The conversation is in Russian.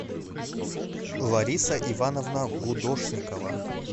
лариса ивановна гудошникова